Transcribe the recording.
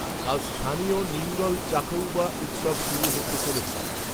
কাল স্থানীয় নিঙ্গল চাখউবা উত্সব শুরু হতে চলেছে